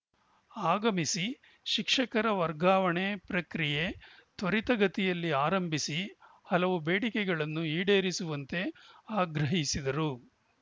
ಆಗಮಿಸಿ ಶಿಕ್ಷಕರ ವರ್ಗಾವಣೆ ಪ್ರಕ್ರಿಯೆ ತ್ವರಿತಗತಿಯಲ್ಲಿ ಆರಂಭಿಸಿ ಹಲವು ಬೇಡಿಕೆಗಳನ್ನು ಈಡೇರಿಸುವಂತೆ ಆಗ್ರಹಿಸಿದರು